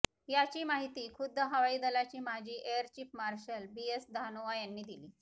याची माहिती खुद्द हवाई दलाचे माजी air chief marshal B S Dhanoa यांनी दिली